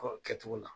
Kɔ kɛcogo la